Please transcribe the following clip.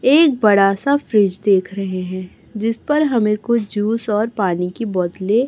एक बड़ा सा फ्रिज देख रहें हैं जिस पर हमें कुछ ज्यूस और पानी की बोतलें --